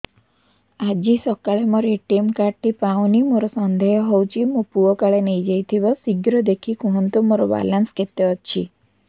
ଆଜି ସକାଳେ ମୋର ଏ.ଟି.ଏମ୍ କାର୍ଡ ଟି ପାଉନି ମୋର ସନ୍ଦେହ ହଉଚି ମୋ ପୁଅ କାଳେ ନେଇଯାଇଥିବ ଶୀଘ୍ର ଦେଖି କୁହନ୍ତୁ ମୋର ବାଲାନ୍ସ କେତେ ଅଛି